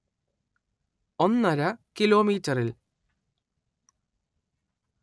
ഒന്നര കിലോമീറ്ററിൽ